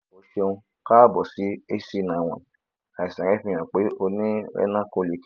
o ṣeun kaabo sí hcn àwọn àìsàn rẹ ń fi hàn pé ó ní renal colic